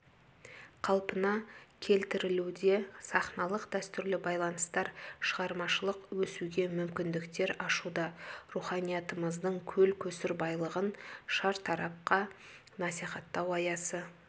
қалпына келтірілуде сахналық дәстүрлі байланыстар шығармашылық өсуге мүмкіндіктер ашуда руханиятымыздың көл-көсір байлығын шартарапқа насихаттау аясы